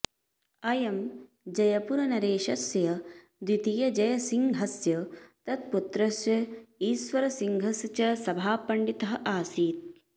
अयं जयपुरनरेशस्य द्वितीयजयसिंहस्य तत्पुत्रस्य ईश्वरसिंहस्य च सभापण्डितः आसीत्